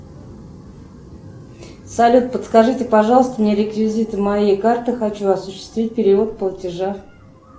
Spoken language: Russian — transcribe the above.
салют подскажите пожалуйста мне реквизиты моей карты хочу осуществить перевод платежа